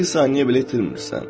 Bir saniyə belə itirmirsən.